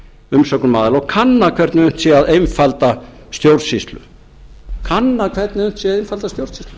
umsögnum aðila og kanna hvernig unnt sé að einfalda stjórnsýslu kanna hvernig unnt sé að einfalda stjórnsýslu